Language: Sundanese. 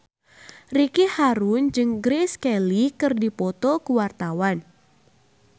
Ricky Harun jeung Grace Kelly keur dipoto ku wartawan